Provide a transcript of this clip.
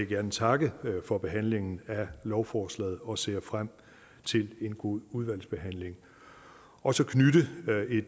gerne takke for behandlingen af lovforslaget og jeg ser frem til en god udvalgsbehandling og så